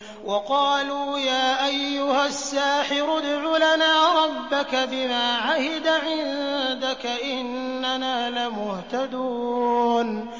وَقَالُوا يَا أَيُّهَ السَّاحِرُ ادْعُ لَنَا رَبَّكَ بِمَا عَهِدَ عِندَكَ إِنَّنَا لَمُهْتَدُونَ